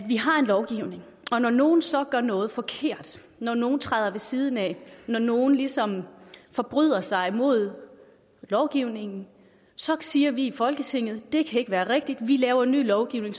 vi har en lovgivning og når nogen så gør noget forkert når nogen træder ved siden af når nogen ligesom forbryder sig imod lovgivningen så siger vi i folketinget det kan ikke være rigtigt vi laver en ny lovgivning